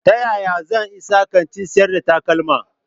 Ta yaya zan isa kantin sayar da takalma?